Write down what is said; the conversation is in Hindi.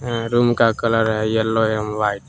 रूम का कलर है येलो एवं व्हाइट ।